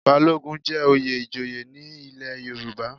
Balogun jẹ́ oyè ìjòyè ní ilé Yorùbá.